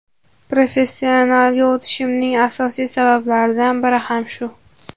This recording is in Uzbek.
Professionalga o‘tishimning asosiy sabablaridan biri ham shu.